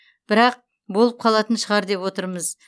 бірақ болып қалатын шығар деп отырмыз